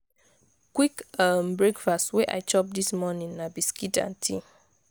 quick um breakfast wey i chop dis morning na biscuit and tea.